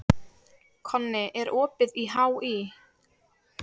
Konni, er opið í HÍ?